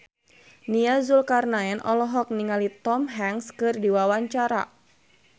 Nia Zulkarnaen olohok ningali Tom Hanks keur diwawancara